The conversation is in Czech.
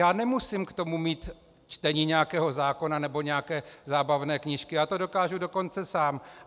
Já nemusím k tomu mít čtení nějakého zákona nebo nějaké zábavné knížky, já to dokážu dokonce sám.